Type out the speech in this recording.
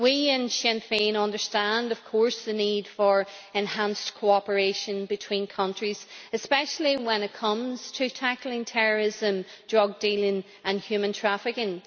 We in Sinn Féin understand, of course, the need for enhanced cooperation between countries, especially when it comes to tackling terrorism, drug dealing and human trafficking.